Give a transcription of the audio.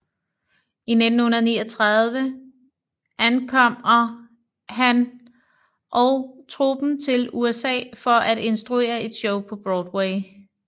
I 1939 ankomr han og truppen til USA for at instruere et show på Broadway